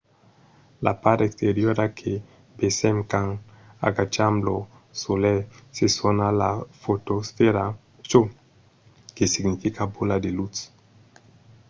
la part exteriora que vesèm quand agacham lo solelh se sona la fotosfèra çò que significa bola de lutz